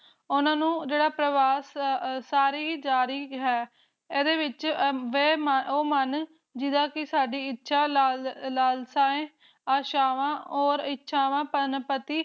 ਉਨ੍ਹਾਂ ਨੂੰ ਪਰਵਾਸ ਸਾਰੀ ਹੀ ਜਾਰੀ ਹੈ ਏਹਦੇ ਵਿਚ ਓਹ ਮਨ ਜਿਹੜੀ ਸਾਡੀ ਇਸ਼ਾ ਲਾਲ੍ਸੀਏ ਆਸ਼ਾਵਾ ਓਰ ਇਸ਼ਾਵਾ ਪਨਪਤੀ